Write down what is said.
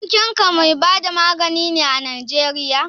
Abokinka mai bada magani ne a Najeriya?